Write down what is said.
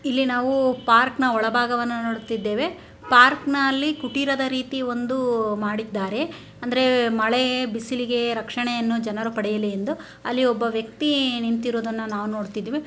ಇಲ್ಲಿ ನಾವು ಪಾರ್ಕನ ಒಳ ಭಾಗವನ್ನು ನೋಡುತ್ತಿದ್ದೇವೆ ಪಾರ್ಕ ನಲ್ಲಿ ಕುಟಿಲದ ರಿತಿ ಒಂದು ಮಾಡಿದ್ದಾರೆ ಅಂದರೆ ಮಳೆ ಬಿಸಿಲಿಗೆ ರಕ್ಷಣೆಯನ್ನು ಜನರು ಪಡೆಯಲಿ ಎಂದು ಅಲ್ಲಿ ಒಬ್ಬ ವ್ಯಕ್ತಿ ನಿಂತಿರುವುದನ್ನ ನಾವು ನೊಡ್ತಿದ್ವಿ .